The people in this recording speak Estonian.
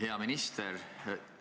Hea minister!